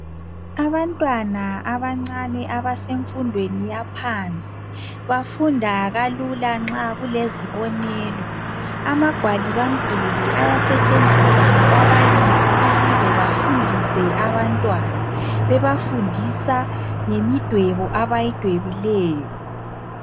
Abantwana abancane abesemfudweni yaphansi bafunda kalula nxa kulezibonelo amagwaliba mduli asetshenziswa ngababalise ukuze bafundise abantwana bebafundisa ngemidwebo abayidwebileyo